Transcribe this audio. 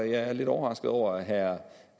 jeg er lidt overrasket over at herre